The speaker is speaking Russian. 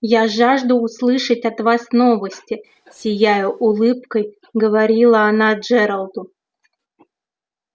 я жажду услышать от вас новости сияя улыбкой говорила она джералду